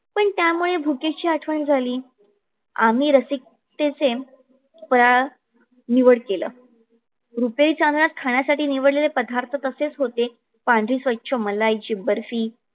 पण त्यामुळे भुकेची आठवण झाली. आम्ही रसिकतेचे फराळ निवड केल. रुपेरी चांदण्यात खाण्यासाठी निवडलेल पदार्थ तसेच होते. स्वच्छ मलाईची बर्फी